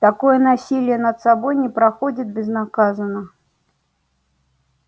такое насилие над собой не проходит безнаказанно